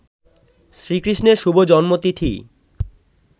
শ্রীকৃষ্ণের শুভ জন্মতিথি